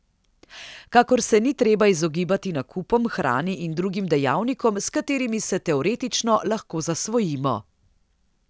Kakor se ni treba izogibati nakupom, hrani in drugim dejavnikom, s katerimi se teoretično lahko zasvojimo.